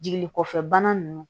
Jigini kɔfɛ bana ninnu